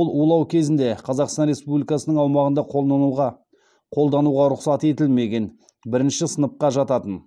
ол улау кезінде қазақстан республикасының аумағында қолдануға қолдануға рұқсат етілмеген бірінші сыныпқа жататын